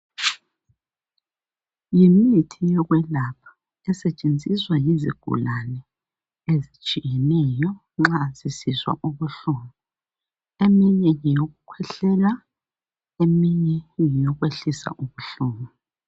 Yimithi yokwelapha esetshenziswa yizigulani ezitshiyeneyo nxa sisizwa ubuhlungu eminye ngeyokukhwehlela eminye ngeyokwehlisa ubuhlungu